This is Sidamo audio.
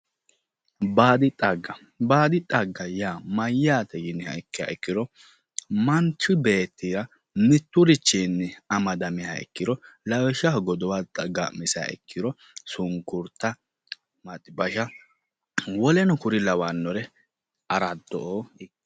Baadi xagga, baadi xagga yaa mayyaate yiniha ikkiro manchi beetti mitturichinni amadamiha ikkiro lawishshaho, godowa ga"misiha ikkiro sunkurta maxibashsha woleno kuri"unlawannore araddo"o